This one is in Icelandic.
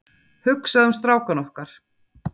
Hugsaðu um strákana okkar.